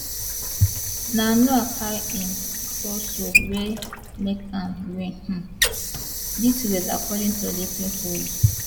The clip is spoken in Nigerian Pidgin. na noah carry im torso wey make am win um dis race according to olympic rules